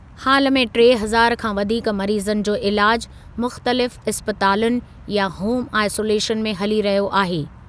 हालु में टे हज़ार खां वधीक मरीज़नि जो इलाजु मुख़्तलिफ़ इस्पतालुनि या होम आइसोलेशन में हली रहियो आहे।